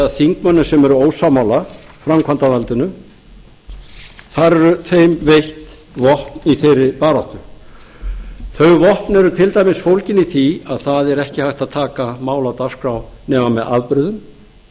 þingmönnum sem eru ósammála framkvæmdarvaldinu þar er þeim veitt vopn í þeirri baráttu þau vopn eru til dæmis fólgin í því að það er ekki hægt að taka mál af dagskrá nema með